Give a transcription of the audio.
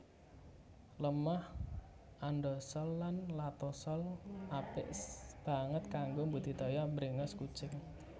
Lemah andosol lan latosol apik banget kanggo mbudidaya bréngos kucing